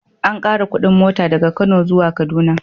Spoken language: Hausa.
An ƙara kuɗin mota daga Kano zuwa Kaduna.